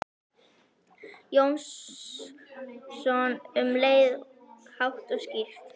Jónsson um leið, hátt og skýrt.